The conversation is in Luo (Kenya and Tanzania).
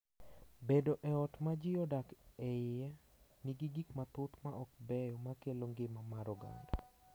Bedo e ot ma ji odak e iye nigi gik mathoth ma ok beyo ma kelo ngima mar oganda.